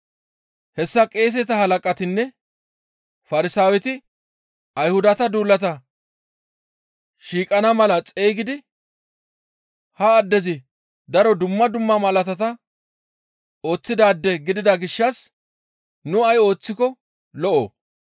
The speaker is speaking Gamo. Hessa qeeseta halaqatinne Farsaaweti Ayhudata duulata shiiqana mala xeygidi, «Ha addezi daro dumma dumma malaatata ooththidaade gidida gishshas nu ay ooththiko lo7oo?